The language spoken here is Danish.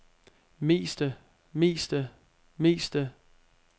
meste meste meste